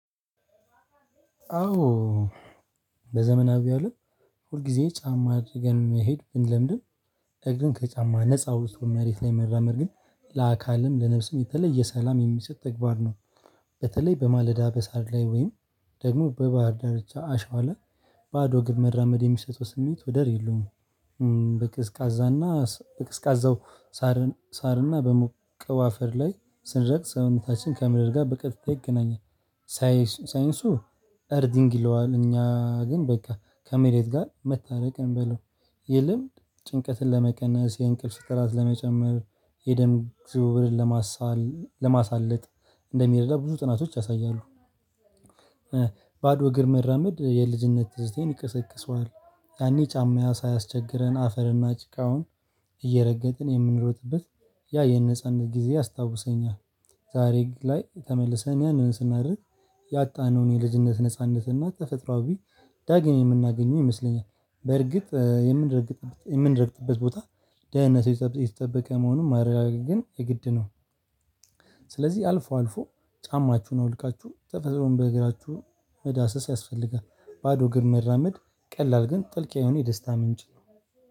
አዎ በዘመናዊ አለም ሁል ጊዜ ጫማ አድርገን መሄድ ብንለምድም እግርን ከጫማ ነፃ አውጥቶ መሬት ላይ መራመድ ግን ለአካልም ለነፍስም የተለየ ሰላም የሚሰጥ ተግባር ነው። በተለይ በማለዳ በሳር ላይ ወይም ደግሞ በባህር ዳርቻ አሸዋ ላይ ባዶ እግር መራመድ የሚሰጠው ስሜት ወደር የለውም። በቅስቃዛና በቅዝቃዛው ሳርና በሞቀው አፈር ላይ ስንረግጥ ሰውነታችን ከምድር ጋር በቀጥታ ይገናኛል። ሳይንሱ አርዚንግ ይለዋል እኛ ግን በቃ ከመሬት ጋር መታረቅን እንበለው። ጭንቀትን ለመቀነስ፤ የእንቅልፍ ጥራት ለመጨመር፤ የደም ዝውውርን ለማሳለጥ እንደሚረዳ ብዙ ጥናቶች ያሳያሉ። ባዶ እግር መራመድ የልጅነት ትዝታዬን ይቀሰቅሰዋል። ያኔ ጫማ ሳያስቸግረን አፈርና ጭቃውን እየረገጥን የምንሮጥበት ያ የነጻነት ጊዜ ያስታውሰኛል። ዛሬ ላይ ተመልሰን ያንን ስናደርግ ያጣነውን የልጅነት ነጻነት እና ተፈጥሮአዊ ዳግም የምናገኘው ይመስለኛል። በርግጥ የምንረግጥበት ቦታ ደህንነቱ የተጠበቀ መሆኑን ማረጋገጥ ግን የግድ ነው። ስለዚህ አልፎ አልፎ ጫማችሁን አውልቃችሁ ተፈጥሮን በእግራችሁ መዳሰስ ያስፈልጋል። ባዶ እግር መራመድ ቀላል ግን ጥልቅ የሆነ የደስታ ምንጭ።